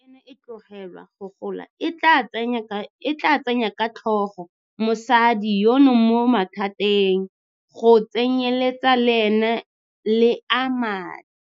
Fa mpa eno e tlogelwa go gola e tla tsenya ka tlhogo mosadi yono mo mathateng go tsenyeletsa le a madi.